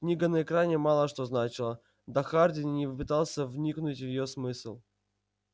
книга на экране мало что значила да хардин и не пытался вникнуть в её смысл